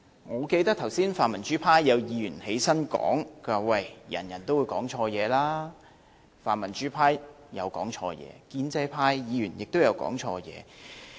我記得剛才泛民主派有議員發言表示，每個人都有機會講錯說話，泛民主派曾講錯說話，建制派議員亦曾講錯說話。